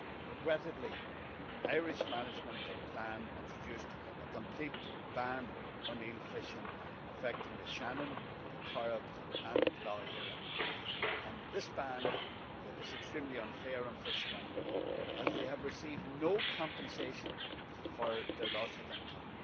Regrettably, an Irish management plan introduced a complete ban on eel fishing affecting the Shannon, the Corrib and Lough Erne and this ban is extremely unfair on fishermen as they have received no compensation for their loss of income.